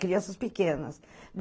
Crianças pequenas.